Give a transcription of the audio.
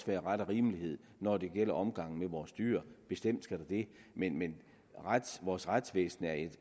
være ret og rimelighed når det gælder omgang med vores dyr bestemt skal der det men vores retsvæsen er